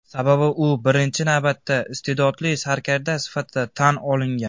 Sababi u birinchi navbatda iste’dodli sarkarda sifatida tan olingan.